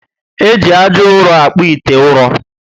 Eji ájá ụrọ akpu ite ụrọ